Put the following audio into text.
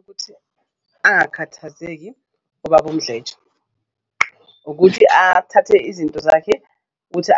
Ukuthi angakhathazeki ubaba uMdletshe ukuthi athathe izinto zakhe ukuthi